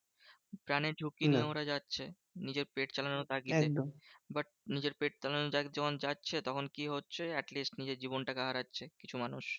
প্রাণের ঝুঁকি নিয়ে ওরা যাচ্ছে। নিজের পেট চালানোর তাগিদে। but নিজের পেট চালানোর তাগিদে যখন যাচ্ছে তখন কি হচ্ছে? at least নিজের জীবনটা কে হারাচ্ছে কিছু মানুষ।